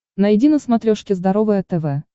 найди на смотрешке здоровое тв